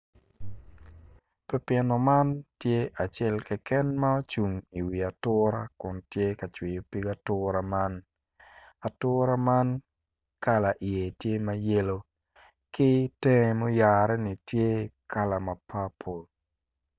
Pipino man tye acel keken ma ocung i wi atura kun tye ka cwiyo pig atura man atura man kala iye tye ma yelo ki temge muyare-ni tye kala ma papo